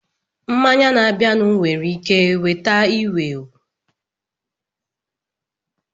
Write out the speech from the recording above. Mmanya na-abịanụ nwere ike nweta ewu ewu.